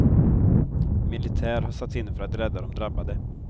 Militär har satts in för att rädda de drabbade.